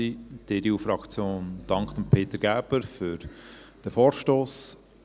Die EDU-Fraktion dankt Peter Gerber für diesen Vorstoss.